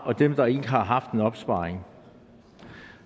og dem der ikke har haft en opsparing